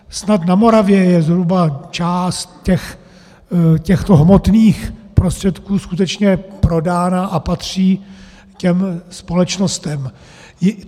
Snad na Moravě je zhruba část těchto hmotných prostředků skutečně prodána a patří těm společnostem.